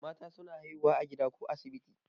Mata suna haihuwa a gida ko asibiti